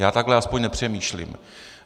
Já takhle aspoň nepřemýšlím.